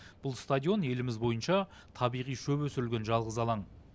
бұл стадион еліміз бойынша табиғи шөп өсірілген жалғыз алаң